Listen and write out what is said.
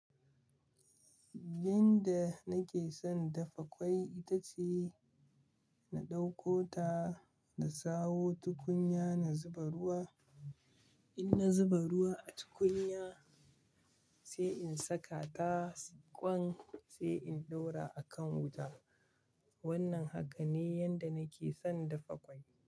Yanda nake son dafa kwai ita ce na ɗauko ta, na sawo tukunya, na zuba ruwa. In na zuba ruwa a tukunya sai in saka ta ƙwan, sai in ɗora a kan wuta. Wannan haka ne yanda nake son dafa ƙwai.